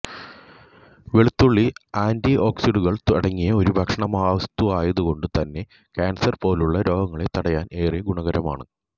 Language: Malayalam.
വെളുത്തുള്ളി ആന്റിഓക്സിഡന്റുകള് അടങ്ങിയ ഒരു ഭക്ഷണവസ്തുവായതു കൊണ്ടുതന്നെ ക്യാന്സര് പോലുള്ള രോഗങ്ങളെ തടയാന് ഏറെ ഗുണകരമാണ്